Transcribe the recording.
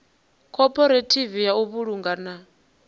khophorethivi ya u vhulunga na